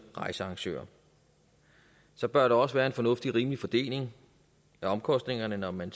rejsearrangører så bør der også være en fornuftig rimelig fordeling af omkostningerne når man